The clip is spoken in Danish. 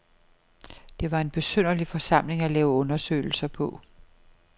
Det var en besynderlig forsamling at lave undersøgelser på.